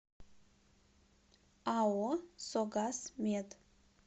ао согаз мед